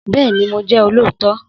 Bẹ́ẹ̀ni, mo jẹ́ olóòótọ́